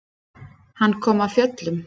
Hann kom af fjöllum.